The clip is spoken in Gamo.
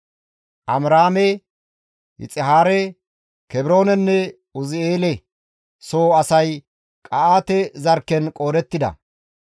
Amiraame, Yixihaare, Kebroonenne Uzi7eele soo asay Qa7aate zarkken qoodettida.